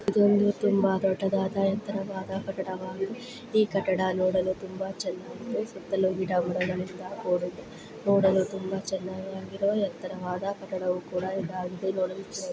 ಇದೊಂದು ತುಂಬಾ ದೊಡ್ಡದಾದ ಎತ್ತರವಾದ ಕಟ್ಟಡವಾಗಿದೆ. ಈ ಕಟ್ಟಡ ನೋಡಲು ತುಂಬಾ ಚೆನ್ನಾಗಿದೆ ಸುತ್ತಲೂ ಗಿಡ - ಮರಗಳಿಂದ ಕೂಡಿದೆ. ನೋಡಲು ತುಂಬಾ ಚೆನ್ನಾಗಿರುವ ಎತ್ತರವಾದ ಕಟ್ಟದವು ಕೂಡ ಇದಾಗಿದೆ. ನೋಡಲು--